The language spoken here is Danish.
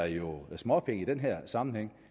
småpenge i den her sammenhæng